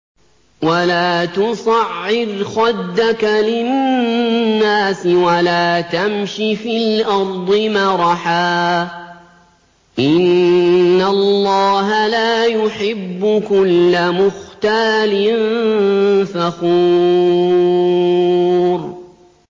وَلَا تُصَعِّرْ خَدَّكَ لِلنَّاسِ وَلَا تَمْشِ فِي الْأَرْضِ مَرَحًا ۖ إِنَّ اللَّهَ لَا يُحِبُّ كُلَّ مُخْتَالٍ فَخُورٍ